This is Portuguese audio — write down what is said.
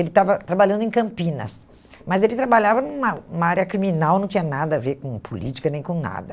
Ele estava trabalhando em Campinas, mas ele trabalhava numa numa área criminal, não tinha nada a ver com política, nem com nada.